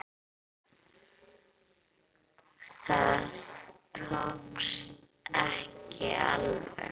Það tókst ekki alveg.